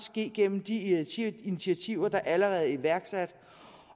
ske gennem de initiativer initiativer der allerede er iværksat